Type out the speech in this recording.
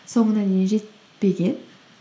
соңына дейін жетпеген